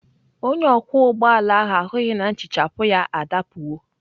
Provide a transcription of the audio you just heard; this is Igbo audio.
Onye ọkwọ ụgbọ ala ahụ ahụghị na nhichapụ ya adapụwo.